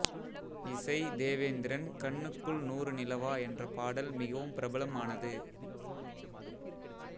இசை தேவேந்திரன் கண்ணுக்குள் நூறு நிலவா என்ற பாடல் மிகவும் பிரபலம் ஆனது